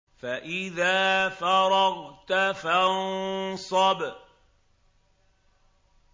فَإِذَا فَرَغْتَ فَانصَبْ